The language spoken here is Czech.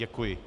Děkuji.